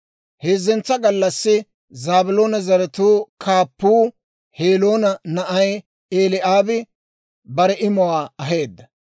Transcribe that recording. Heezzentsa gallassi Zaabiloona zaratuu kaappuu, Heloona na'ay Eli'aabi bare imuwaa aheedda.